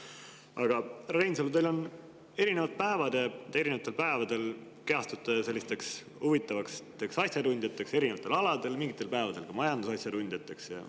Aga, härra Reinsalu, te erinevatel päevadel kehastute selliseks huvitavaks asjatundjaks erinevatel aladel, mingitel päevadel ka majandusasjatundjaks.